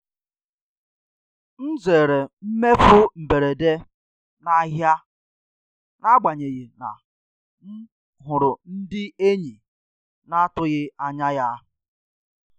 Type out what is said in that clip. M zere mmefu mberede n'ahịa n'agbanyeghị na m hụrụ ndị enyi na-atụghị anya ya.